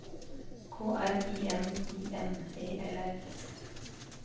K R I M I N E L L